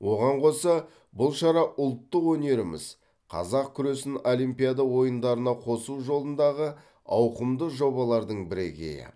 оған қоса бұл шара ұлттық өнеріміз қазақ күресін олимпиада ойындарына қосу жолындағы ауқымды жобалардың бірегейі